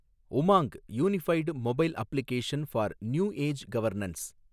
Umang , unified mobile application for new age governance